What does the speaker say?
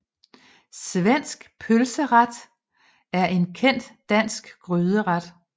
Svensk pølseret er en kendt dansk gryderet